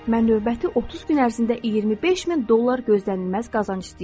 Mən növbəti 30 gün ərzində 25 min dollar gözlənilməz qazanc istəyirəm.